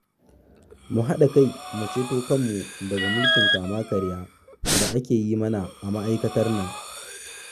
Mu haɗa kai mu ceto kanmu daga mulkin kama-karya da ake yi mana a ma'aikatar nan